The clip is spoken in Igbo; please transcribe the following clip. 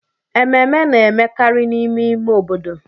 Ememe na-emekarị n'ime ime obodo.